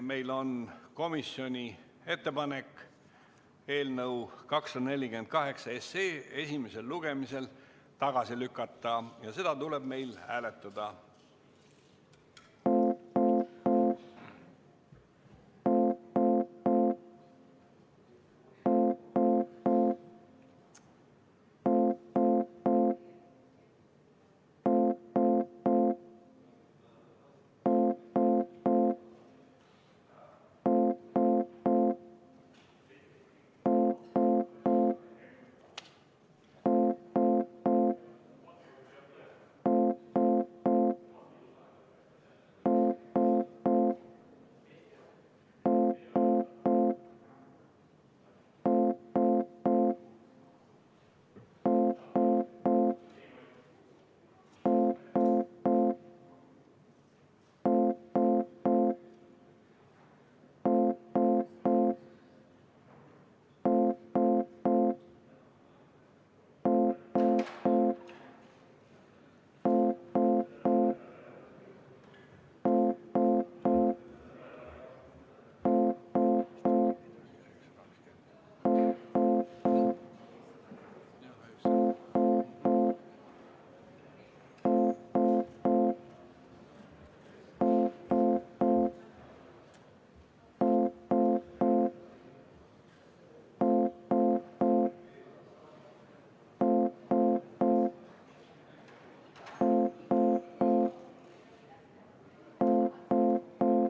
Meil on komisjoni ettepanek eelnõu 248 esimesel lugemisel tagasi lükata ja seda tuleb nüüd hääletada.